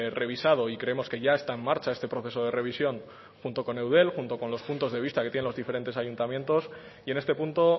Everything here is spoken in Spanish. revisado y creemos que ya está en marcha este proceso de revisión junto con eudel junto con los puntos de vista que tienen los diferentes ayuntamientos y en este punto